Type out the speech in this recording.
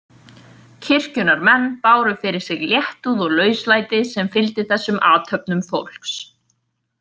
Kirkjunnar menn báru fyrir sig léttúð og lauslæti sem fylgdi þessum athöfnum fólks.